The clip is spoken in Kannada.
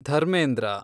ಧರ್ಮೇಂದ್ರ